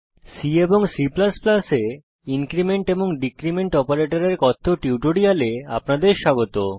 C এবং C এ increment এবং ডীক্রীমেন্ট অপারেটরের কথ্য টিউটোরিয়ালে আপনাদের স্বাগত